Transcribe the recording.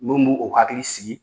Mun b'u u hakili sigi